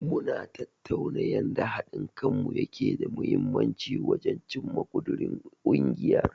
Mu na tattaunawa yanda haɗin kanmu yake da mahimmanci wajen cimma ƙudirin ungiyar.